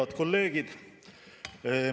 Head kolleegid!